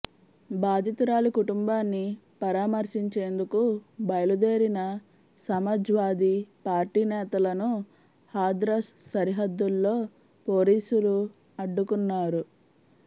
బాధితురాలి కుటుంబాన్ని పరామర్శించేందుకు బయలుదేరిన సమాజ్వాదీ పార్టీ నేతలను హాథ్రస్ సరిహద్దుల్లో పోలీసులు అడ్డుకున్నారు